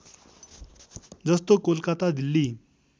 जस्तो कोलकाता दिल्ली